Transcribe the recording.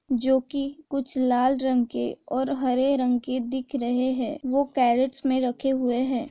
जो की कुछ लाल रंग के और हरे रंग के दिख रहे हैं वो कैरेट्स में रखे हुए हैं।